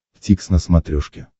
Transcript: дтикс на смотрешке